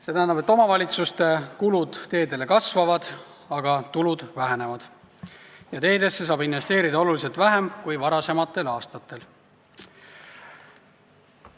See tähendab, et omavalitsuste kulud teedele kasvavad, aga tulud vähenevad ja teedesse saab investeerida märksa vähem kui varasematel aastatel.